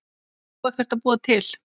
Á ekkert að búa til?